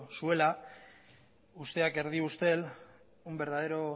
zuela usteak erdi ustel un verdadero